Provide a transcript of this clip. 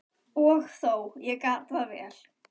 Og þó, ég gat það vel.